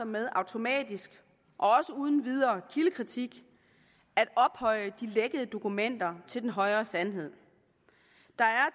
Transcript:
med automatisk og uden videre kildekritik at ophøje de lækkede dokumenter til den højere sandhed der er